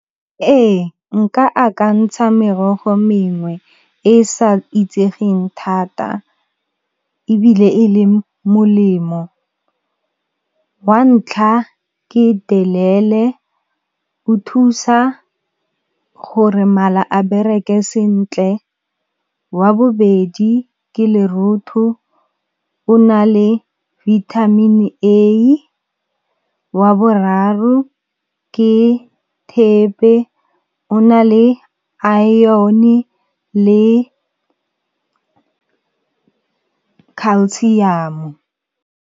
Ee nka akantsha merogo mengwe e sa itsegeng thata ebile e le molemo. Wa ntlha ke delele o thusa gore mala a bereke sentle, wa bobedi ke lerotho o na le vitamin A, wa boraro ke thepe o na le iron le calcium-o.